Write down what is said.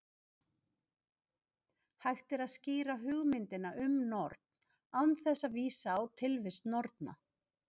Hægt er að skýra hugmyndina um norn án þess að vísa á tilvist norna.